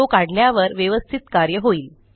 तो काढल्यावर व्यवस्थित कार्य होईल